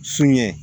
Sun ye